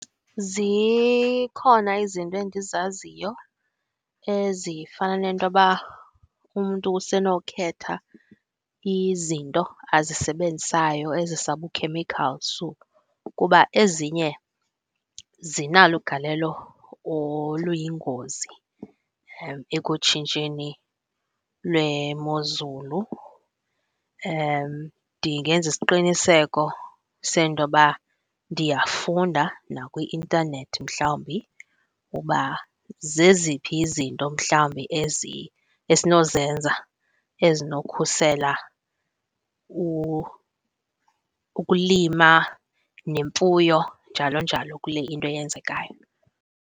Zikhona izinto endizaziyo ezifana nentoba umntu usenokhetha izinto azisebenzisayo ezisabukhemikhali su kuba ezinye zinalo ugalelo oluyingozi ekutshintsheni lwemozulu. Ndingenza isiqiniseko sentoba ndiyafunda nakwi-intanethi mhlawumbi uba zeziphi izinto mhlawumbi esinozenza ezinokhusela ukulima nemfuyo njalo njalo kule into yenzekayo.